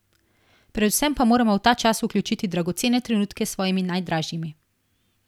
Predvsem pa moramo v ta čas vključiti dragocene trenutke s svojimi najdražjimi.